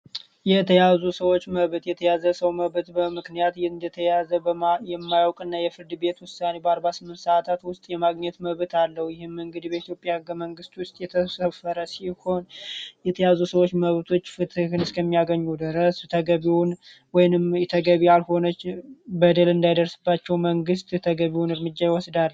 የተያዙ ሰዎች መብት የተያዘ ሰው መብት በምክንያት እንደተያዘ የማያውቅ እና የፍርድ ቤት ውሳኒ በ48 ሰዓታት ውስጥ የማግኘት መዕበት አለው ይህም እንግድ በኢትዮጵያ በመንግስት ውስጥ የተሰፈረ ሲሆን የተያዙ ሰዎች መዕበቶች ፍትህን እስከሚያገኙ ድረስ ተገቢውን ወይንም የተገቢ ያልሆነች በደል እንዳይደርስባቸው መንግስት ተገቢውን እርምጃ ይወስዳል